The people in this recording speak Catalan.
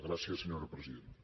gràcies senyora presidenta